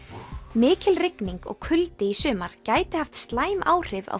mikil rigning og kuldi í sumar gæti haft slæm áhrif á